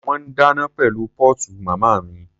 Wọ́n ń dáná pẹ̀lú póòtù màmá mi.